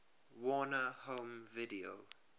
warner home video